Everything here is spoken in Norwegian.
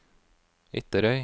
Ytterøy